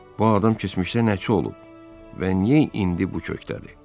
Bu adam keçmişdə nəçi olub və niyə indi bu kökdədir?